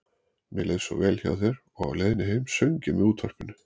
Mér leið svo vel hjá þér og á leiðinni heim söng ég með útvarpinu.